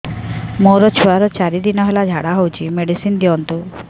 ମୋର ଛୁଆର ଚାରି ଦିନ ହେଲା ଝାଡା ହଉଚି ମେଡିସିନ ଦିଅନ୍ତୁ